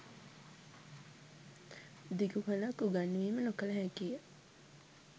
දිගු කලක් උගැන්වීම නොකළ හැකිය.